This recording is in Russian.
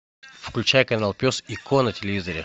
включай канал пес и ко на телевизоре